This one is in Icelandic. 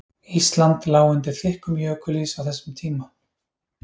Ísland lá undir þykkum jökulís á þessum tíma.